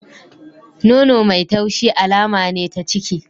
Nono mai taushi alama ne ta ciki.